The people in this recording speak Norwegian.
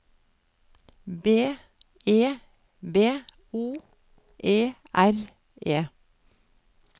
B E B O E R E